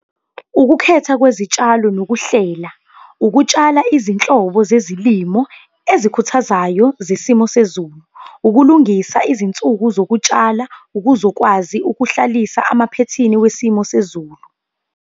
Ukukhetha kwezitshalo nokuhlela, ukutshala izinhlobo zezilimo ezikhuthazayo zesimo sezulu. Ukulungisa izinsuku zokutshala ukuze ukwazi ukuhlalisa emaphethini esimo sezulu.